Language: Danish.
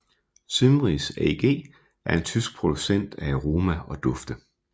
Symrise AG er en tysk producent af aroma og dufte